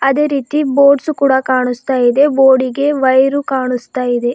ಅದೇ ರೀತಿ ಬೋರ್ಡ್ಸ್ ಕೂಡ ಕಾಣುಸ್ತಾ ಇದೆ ಬೋರ್ಡಿಗೆ ವೈರು ಕಾಣುಸ್ತಾ ಇದೆ.